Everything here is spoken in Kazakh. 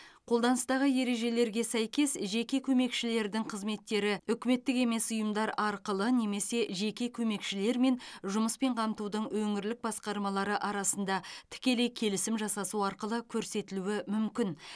қолданыстағы ережелерге сәйкес жеке көмекшілердің қызметтері үкіметтік емес ұйымдар арқылы немесе жеке көмекшілер мен жұмыспен қамтудың өңірлік басқармалары арасында тікелей келісім жасасу арқылы көрсетілуі мүмкін